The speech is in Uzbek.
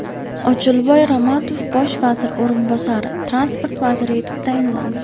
Ochilboy Ramatov Bosh vazir o‘rinbosari transport vaziri etib tayinlandi.